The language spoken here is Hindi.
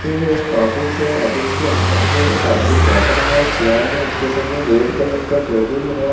ये एक ऑफिस है ऑफिस के अंदर में एक आदमी बेठा है चेयर में उसके सामने रेड कलर का टेबल है।